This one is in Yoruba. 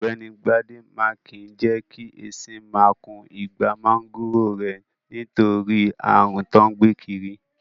Ọ̀gbẹ́ni Bádé máa kìí jẹ́ kí esin máa kun igbá máńgòrò rẹ̀, nítorí ààrùn tí wọ́n gbé kiri.